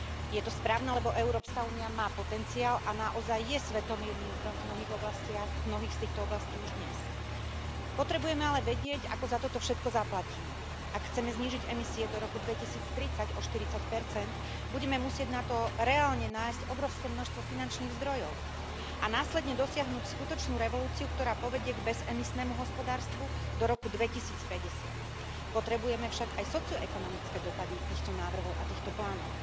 Je to správne, lebo EÚ má potenciál a naozaj je svetovým lídrom v mnohých oblastiach, v mnohých z týchto oblastí už dnes. Potrebujeme ale vedieť, ako za toto všetko zaplatíme. Ak chceme znížiť emisie do roku 2030 o 40, budeme musieť na to reálne nájsť obrovské množstvo finančných zdrojov. A následne dosiahnuť skutočnú revolúciu, ktorá povedie k bez emisnému hospodárstvu do roku 2050. Potrebujeme však aj socio ekonomické dopady týchto návrhov a týchto plánov.